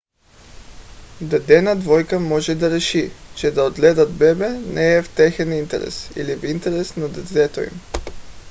дадена двойка може да реши че да отглеждат бебе не е в техен интерес или в интерес на детето им